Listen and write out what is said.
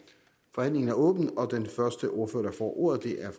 forhandlingen er åbnet og den første ordfører der får ordet er